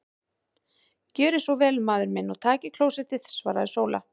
Gjörið þér svo vel maður minn og takið klósettið, svaraði Sóla.